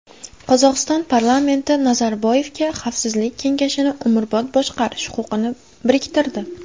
Qozog‘iston parlamenti Nazarboyevga Xavfsizlik kengashini umrbod boshqarish huquqini biriktirdi.